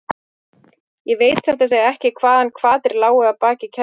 Ég veit satt að segja ekki hvaða hvatir lágu að baki kærunni.